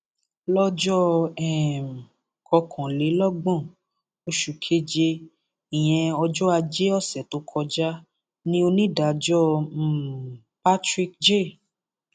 lọjọ um kọkànlélọgbọn oṣù keje ìyẹn ọjọ ajé ọsẹ tó kọjá ni onídàájọ um patrick j